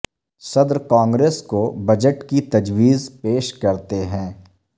صدر کانگریس کو بجٹ کی تجویز پیش کرتے ہیں